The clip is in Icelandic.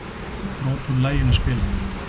Brot úr laginu spilað